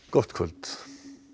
gott kvöld